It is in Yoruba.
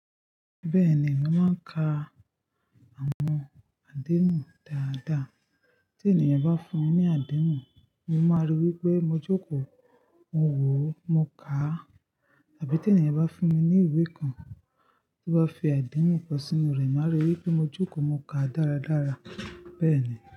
Bẹ́ẹ̀ ni, màá ń ka àwọn àdehun dáadáa. Tí ènìyàn bá fún mi ní àdehun, mo máa rí i wípé mo jókòó mo wò ó, mo kà tàbí tí ènìyàn bá fún mi ní ìwé kan tó bá fi àdehun kan sínú rẹ̀, màá rí i wípé mo jókòó mo kà á dáradára. Bẹ́ẹ̀ ni.